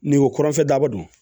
Ni ko kɔrɔnfɛ daba don